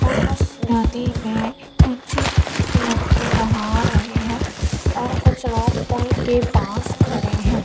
और उस नदी में कुछ लड़के नहा रहे हैं और कुछ लोग पूल के पास खड़े हैं।